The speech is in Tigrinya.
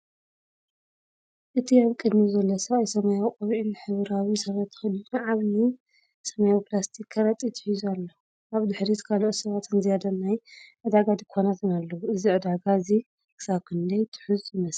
እቲ ኣብ ቅድሚት ዘሎ ሰብኣይ ሰማያዊ ቆቢዕን ሕብራዊ ስረ ተኸዲኑ ዓቢይ ሰማያዊ ፕላስቲክ ከረጢት ሒዙ ኣሎ። ኣብ ድሕሪት ካልኦት ሰባትን ዝያዳ ናይ ዕዳጋ ድኳናትን ኣለዉ። እዚ ዕዳጋ እዚ ክሳብ ክንደይ ትሑዝ ይመስል?